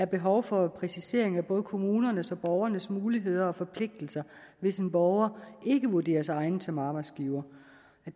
behov for en præcisering af både kommunernes og borgernes muligheder og forpligtelser hvis en borger ikke vurderes egnet som arbejdsgiver